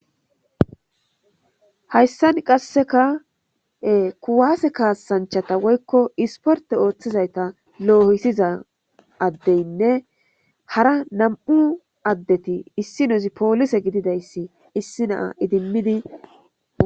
hayssan qasseka kuwaase kaasanchata woykko isporte ooththizayta loohisiza addeynne hara nam7u addeti issi nuzi poolise gididayssi issi naa idimmidi